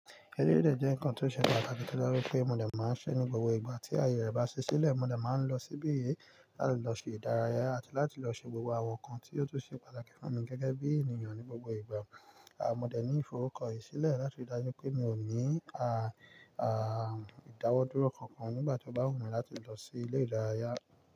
Ẹlerẹ̀ jẹ́ nǹkan tó ṣe pàtàkì tí mo rí pé mo dè máa ń ṣe ní gbogbo ìgbà. Tí àyè rẹ̀ bá sí sílẹ̀, mo dè ma ń lọ sí ibi yìí láti lọ ṣe ìdárayá àti láti lọ ṣe gbogbo àwọn nkan tí ó tún ṣe pàtàkì fún mi gẹ́gẹ́ bí ènìyàn ní gbogbo ìgbà. Mo dè ní ìforúkọ yìí sílẹ̀ láti rí dájú pé mi ò ní a a-- ìdáwọ́ dúró kankan nígbà tí ó bá wù mí láti lọ sí ilé ìdárayá.